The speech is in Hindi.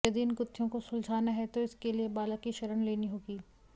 यदि इन गुत्थियों को सुलझाना है तो इसके लिए बालक की शरण लेनी होगी